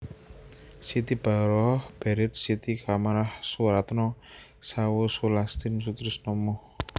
Siti Baroroh Baried Siti Chamamah Soeratno Sawoe Sulastin Sutrisno Moh